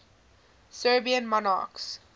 serbian monarchs